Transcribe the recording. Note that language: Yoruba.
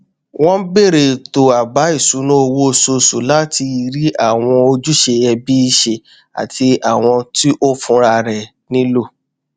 ó bẹrẹ ètò àbá ìṣúná oṣooṣù láti rí àwọn ojúṣe ẹbí ṣe àti àwọn tí òun fúnra rẹ nílò